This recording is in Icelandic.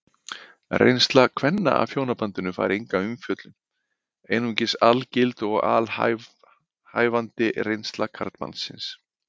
Reynsla kvenna af hjónabandinu fær enga umfjöllun, einungis algild og alhæfandi reynsla karlmannsins.